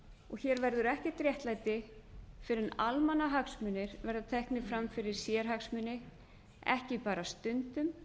og hér verður ekkert réttlæti fyrr en almannahagsmunir verða teknir fram fyrir sérhagsmuni ekki bara stundum